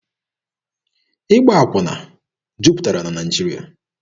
Ịgba akwụna jupụtara na Naịjirịa.